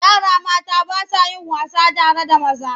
Yara mata ba sa yin wasa tare da maza.